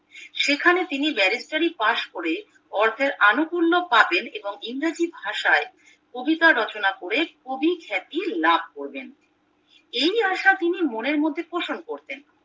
সেখানে তিনি ব্যারিস্টারি পাস করে অর্থের আনুকূল্য পাবেন এবং ইংরেজি ভাষায় কবিতা রচনা করে কবি খ্যাতি লাভ করেন এই আশা তিনি মনের মধ্যে পোষণ করতেন